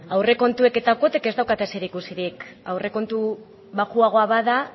aurrekontuek eta kuotek ez daukate zerikusirik aurrekontu baxuagoa bada